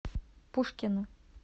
пушкино